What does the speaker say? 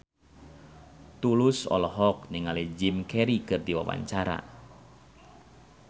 Tulus olohok ningali Jim Carey keur diwawancara